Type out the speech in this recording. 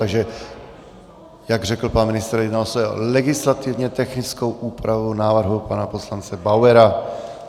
Takže jak řekl pan ministr, jedná se o legislativně technickou úpravu návrhu pana poslance Bauera.